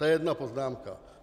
To je jedna poznámka.